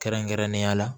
Kɛrɛnkɛrɛnnenya la